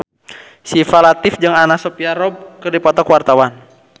Syifa Latief jeung Anna Sophia Robb keur dipoto ku wartawan